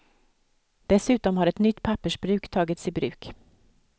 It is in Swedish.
Dessutom har ett nytt pappersbruk tagits i bruk.